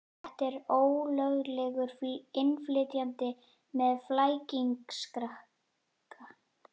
Þetta er ólöglegur innflytjandi með flækingsrakka.